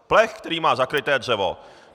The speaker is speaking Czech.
Plech, kterým má zakryté dřevo.